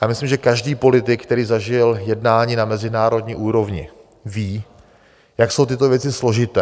Já myslím, že každý politik, který zažil jednání na mezinárodní úrovni, ví, jak jsou tyto věci složité.